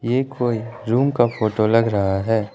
ये कोई रूम का फोटो लग रहा है।